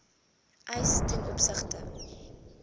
eis ten opsigte